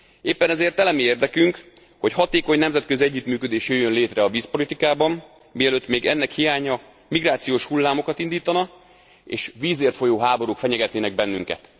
Éppen ezért elemi érdekünk, hogy hatékony nemzetközi együttműködés jöjjön lére a vízpolitikában, mielőtt még ennek hiánya migrációs hullámokat indítana, és vízért folyó háborúk fenyegetnének bennünket.